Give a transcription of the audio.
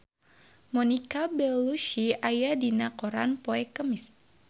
Monica Belluci aya dina koran poe Kemis